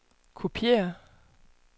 kopiér